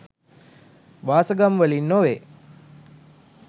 වාසගම් වලින් නොවේ.